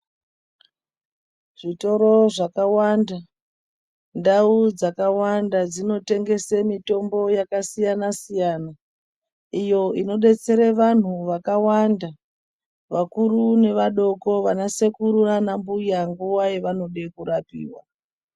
Zvitoro zvakawanda ndau dzakawanda dzinotengesa mutombo yakasiyana siyana iyo inobetsera vantu akawanda akuru nevadoko anasekuru nanambuya nguwa yavanode kurapiwa.